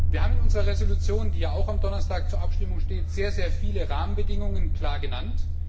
Wir haben in unserer Entschließung, die ja auch am Donnerstag zur Abstimmung steht, sehr viele Rahmenbedingungen klar genannt.